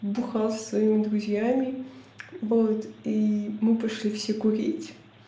бухал со своими друзьями вот и мы пошли все курить